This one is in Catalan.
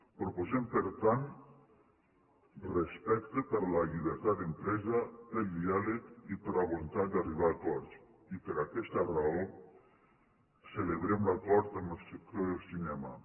proposem per tant respecte per a la llibertat d’empresa per al diàleg i per la voluntat d’arribar a acords i per aquesta raó celebrem l’acord amb el sector del cinema